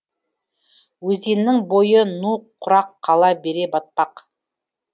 өзеннің бойы ну құрақ қала бере батпақ